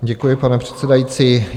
Děkuji, pane předsedající.